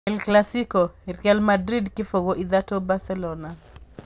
El Clasico: Real Madrid kĩbũgũ-ithatũ Barcelona